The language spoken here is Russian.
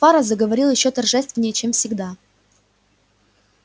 фара заговорил ещё торжественнее чем всегда